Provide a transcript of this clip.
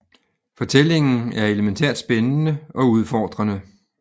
Fortællingen er elementært spændende og udfordrende